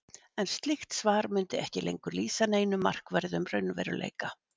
En slíkt svar mundi ekki lengur lýsa neinum markverðum raunveruleika.